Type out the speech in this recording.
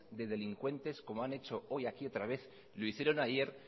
de delincuente como han hecho hoy aquí otra vez lo hicieron ayer